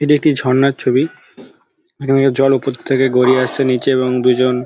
''এটি একটি ঝর্ণার ছবি জল উপর থেকে জল গড়িয়ে আসছে নিচে এবং দু''''জন-- ''